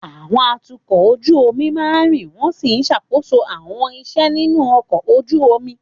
Àwọn atukọ̀ ojú omi máa ń rìn wọ́n sì ń ṣàkóso àwọn iṣẹ́ nínú ọkọ̀ ojú omi.